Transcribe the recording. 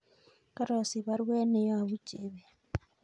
Karosich baruet neyobu chebet